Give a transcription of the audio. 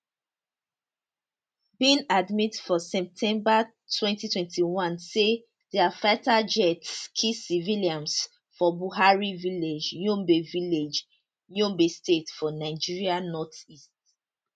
bin admit for september twenty twenty one say dia fighter jets kill civilians for buwari village yobe village yobe state for nigeria northeast